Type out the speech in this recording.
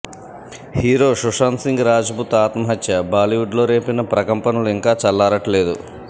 hero Sushant Singh Rajput ఆత్మహత్య బాలీవుడ్ లో రేపిన ప్రకంపనలు ఇంకా చల్లారట్లేదు